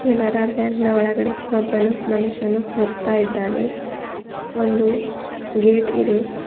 Canara bank ನ ಒಳಗಡೆ ಒಬ್ಬನು ಮನುಷ್ಯನು ಹೋಗ್ತಾ ಇದ್ದಾನೆ ಒಂದು ಗೇಟ್ ಇದೆ.